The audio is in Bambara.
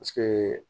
Paseke